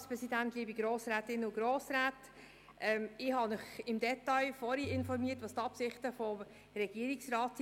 Ich habe Sie vorhin im Detail über die Absichten des Regierungsrats informiert.